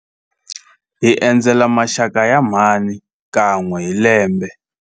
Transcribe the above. Hi endzela maxaka ya mhani kan'we hi lembe.